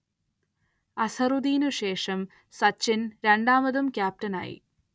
അസ്‌ഹറുദ്ദീനു ശേഷം സച്ചിൻ രണ്ടാമതും ക്യാപ്റ്റനായി.